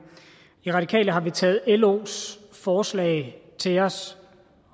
i radikale har vi taget los forslag til os